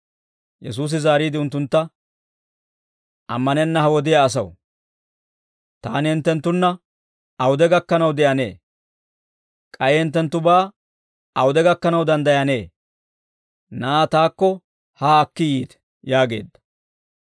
Yesuusi zaariide unttuntta, «Ammanenna ha wodiyaa asaw! Taani hinttenttunna awude gakkanaw de'anee? K'ay hinttenttubaa awude gakkanaw danddayanee? Na'aa taakko haa akki yiite» yaageedda.